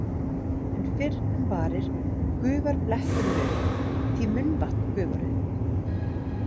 En fyrr en varir gufar bletturinn upp, því munnvatn gufar upp.